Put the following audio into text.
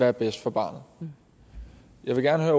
er bedst for barnet jeg vil gerne